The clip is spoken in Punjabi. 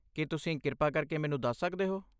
ਕੀ ਤੁਸੀਂ ਕਿਰਪਾ ਕਰਕੇ ਮੈਨੂੰ ਦੱਸ ਸਕਦੇ ਹੋ?